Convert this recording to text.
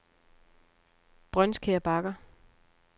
Brøndskær Bakker